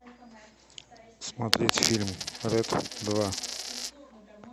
смотреть фильм рэд два